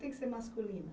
Tem que ser masculina.